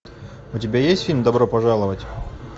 у тебя есть фильм добро пожаловать